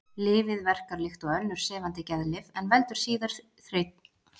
Lyfið verkar líkt og önnur sefandi geðlyf en veldur síður þreytu og syfju.